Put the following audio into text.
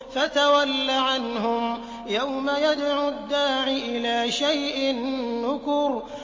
فَتَوَلَّ عَنْهُمْ ۘ يَوْمَ يَدْعُ الدَّاعِ إِلَىٰ شَيْءٍ نُّكُرٍ